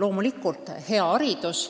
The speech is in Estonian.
Loomulikult hea haridus